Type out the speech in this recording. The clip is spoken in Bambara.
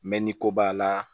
Mɛ ni ko b'a la